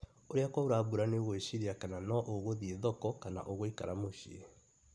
Ũrĩa kwaũra mbura nĩũgũĩciria kana no ũgũthiĩ thoko kana ũgũikara mũciĩ